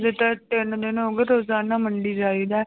ਤਿੰਨ ਦਿਨ ਹੋ ਗਏ ਰੋਜ਼ਾਨਾ ਮੰਡੀ ਜਾਈਦਾ ਹੈ